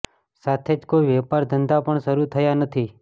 સાથે જ કોઈ વેપાર ધંધા પણ શરુ થયા નથી